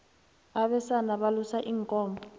abesana balusa iinkomo